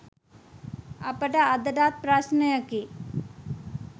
අපට අදටත් ප්‍රශ්නයකි.